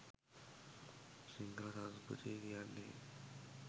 සිංහල සංස්කෘතිය කියන්නේ